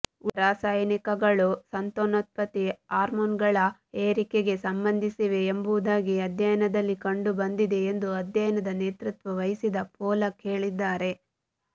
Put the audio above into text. ಉಳಿದ ರಾಸಾಯನಿಕಗಳು ಸಂತಾನೋತ್ಪತ್ತಿ ಹಾರ್ಮೋನ್ಗಳ ಏರಿಕೆಗೆ ಸಂಬಂಧಿಸಿವೆ ಎಂಬುದಾಗಿ ಅಧ್ಯಯನದಲ್ಲಿ ಕಂಡುಬಂದಿದೆ ಎಂದು ಅಧ್ಯಯನದ ನೇತೃತ್ವ ವಹಿಸಿದ ಪೋಲಕ್ ಹೇಳಿದ್ದಾರೆ